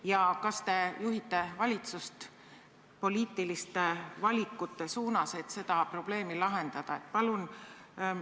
Ja kas te juhite valitsust poliitiliste valikute suunas, et seda probleemi lahendada?